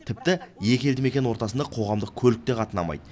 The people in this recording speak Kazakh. тіпті екі елді мекен ортасында қоғамдық көлік те қатынамайды